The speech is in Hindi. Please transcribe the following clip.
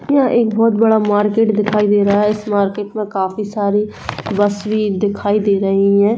यह एक बहोत बड़ा मार्केट दिखाई दे रहा है इस मार्केट में काफी सारी बस भी दिखाई दे रही है।